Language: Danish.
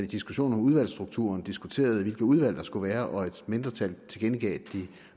diskussionen om udvalgsstrukturen diskuterede hvilke udvalg der skulle være og et mindretal tilkendegav at de